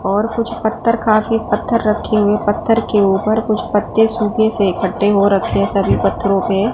और कुछ पत्थर काफी पत्थर रखे हुए पत्थर के ऊपर कुछ पत्ते सूखे से इकट्ठे हो रखे सभी पत्थरों पे--